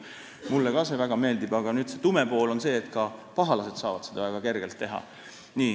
Mulle ka see väga meeldib, aga tume pool on see, et ka pahalased saavad seda väga kergesti teha.